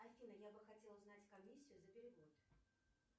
афина я бы хотела узнать комиссию за перевод